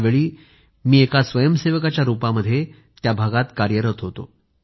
त्यावेळी मी एक कार्यकर्ता म्हणून त्या भागामध्ये कार्यरत होतो